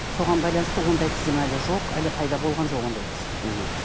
соған байланысты ондай тізім әлі жоқ әлі пайда болған жоқ ондай тізім мхм